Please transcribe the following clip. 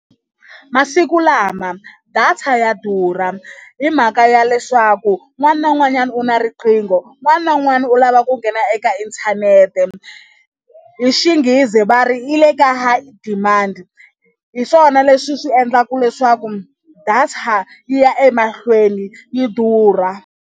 Masikulama data ya durha hi mhaka ya leswaku un'wana na un'wanyana u na riqingho un'wana na un'wana u lava ku nghena eka inthanete hi Xinghezi va ri yi le ka high demand hi swona leswi swi endlaka leswaku data yi ya emahlweni yi durha.